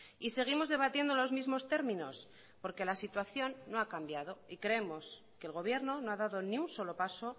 y seguimos debatiendo los mismos términos porque la situación no ha cambiado y creemos que el gobierno no ha dado ni un solo paso